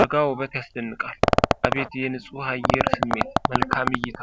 ረጋ ውበት ያስደንቃል። አቤት የንፁህ አየር ስሜት! መልካም እይታ!